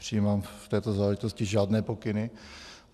Nepřijímám v této záležitosti žádné pokyny.